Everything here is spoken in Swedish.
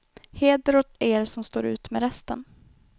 Heder åt er som står ut med resten.